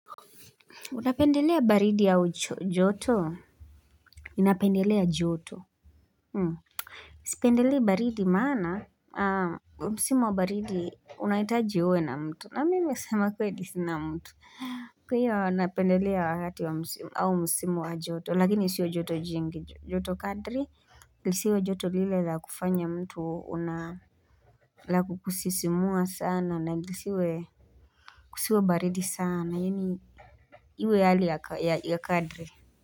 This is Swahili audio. Unapendelea baridi au joto? Ninapendelea joto Sipendelei baridi maana Msimo wa baridi unahitaji uwe na mtu na mimi kusema kweli sina mtu Kwa hiyo napendelea wakati au msimo wa joto Lakini isiwe joto jingi joto kadri lisiwe joto lile la kufanya mtu la kukusisimua sana na lisiwe Kusiwe baridi sana Iwe yale ya kadri.